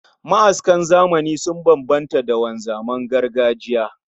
Ma'askan zamani sun bambanta da wanzaman gargajiya